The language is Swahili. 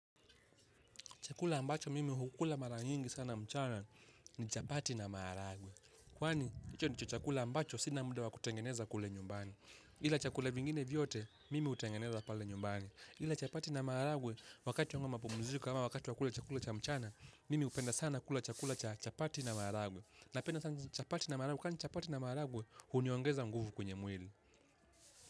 Chakula ambacho mimi hukula mara nyingi sana mchana ni chapati na maharagwe. Kwani, hicho ndicho chakula ambacho sina muda wa kutengeneza kule nyumbani. Ila chakula vingine vyote, mimi hutengeneza pale nyumbani. Ila chapati na maharagwe, wakati wangu wa mapumziko ama wakati wa kula chakula cha mchana, mimi hupenda sana kula chakula cha chapati na maharagwe. Napenda sana chapati na maharagwe, kwani chapati na maharagwe huniongeza nguvu kwenye mwili.